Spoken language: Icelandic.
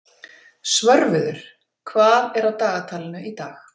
Svörfuður, hvað er á dagatalinu í dag?